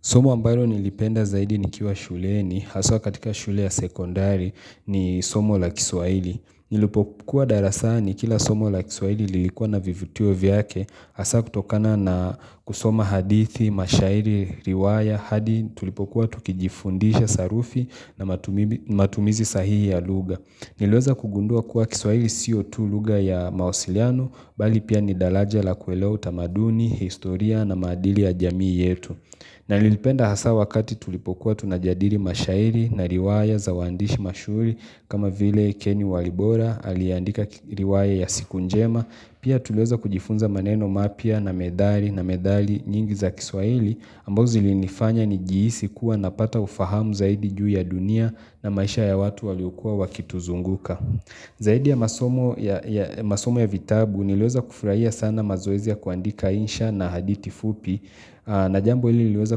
Somo ambalo nilipenda zaidi nikiwa shuleni, haswa katika shule ya sekondari ni somo la kiswahili. Nilipokuwa darasani, kila somo la kiswahili lilikuwa na vivutio vyake, hasa kutokana na kusoma hadithi, mashairi, riwaya, hadi tulipokuwa tukijifundisha sarufi na matumizi sahihi ya lugha. Niliweza kugundua kuwa kiswaili sio tu lugha ya mawasiliano, bali pia ni dalaja la kuelewa utamaduni, historia na maadili ya jamii yetu. Na nililipenda hasa wakati tulipokuwa tunajadiri mashairi na riwaya za uandishi mashuri kama vile Kenny Walibora aliyeandika riwaya ya siku njema Pia tuliweza kujifunza maneno mapya na methali na methali nyingi za kiswahili ambazo zilinifanya nijihisi kuwa napata ufahamu zaidi juu ya dunia na maisha ya watu waliokua wakituzunguka Zaidi ya masomo ya vitabu niliweza kufurahia sana mazoezi ya kuandika insha na hadithi fupi Najambo hili liliweza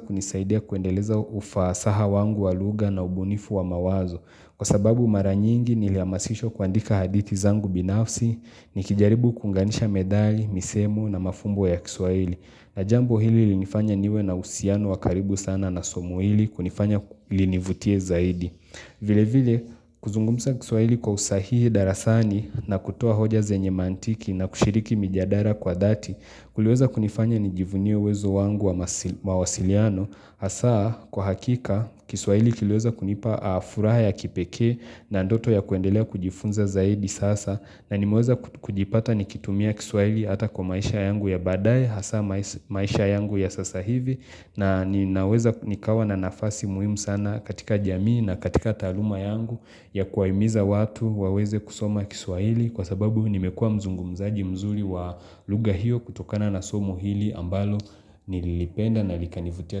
kunisaidia kuendeleza ufasaha wangu wa lugha na ubunifu wa mawazo Kwa sababu mara nyingi nilihamasishwa kuandika hadithi zangu binafsi Nikijaribu kuunganisha methali, misemo na mafumbo ya kiswahili Najambo hili llinifanya niwe na uhusiano wakaribu sana na somo hili kunifanya linivutie zaidi vile vile kuzungumza kiswahili kwa usahihi darasani na kutuo hoja zenye mantiki na kushiriki mijadara kwa dhati Kuliweza kunifanya nijivunie uwezo wangu wa mawasiliano Hasa kwa hakika kiswahili kiliweza kunipa furaha ya kipekee na ndoto ya kuendelea kujifunza zaidi sasa na nimeweza kujipata nikitumia kiswahili hata kwa maisha yangu ya baadae hasaa maisha yangu ya sasa hivi na ninaweza nikawa na nafasi muhimu sana katika jamii na katika taaluma yangu ya kuwahimiza watu waweze kusoma kiswahili kwa sababu nimekua mzungumzaji mzuri wa lugha hiyo kutokana na somo hili ambalo nililipenda na likanivutia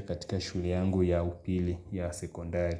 katika shule yangu ya upili ya sekondari.